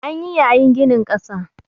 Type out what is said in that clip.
An yi yayin ginin ƙasa